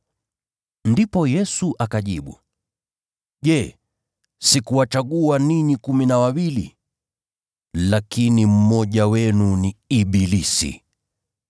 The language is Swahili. Ndipo Yesu akajibu, “Je, sikuwachagua ninyi kumi na wawili? Lakini mmoja wenu ni ibilisi.”